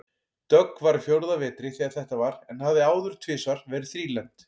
Dögg var á fjórða vetri þegar þetta var en hafði áður tvisvar verið þrílembd.